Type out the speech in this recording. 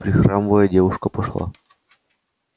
прихрамывая девушка пошла